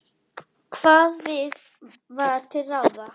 Hvað var til ráða?